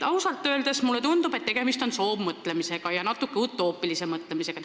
Ausalt öeldes mulle tundub, et tegemist on soovmõtlemisega ja natuke utoopilise mõtlemisega.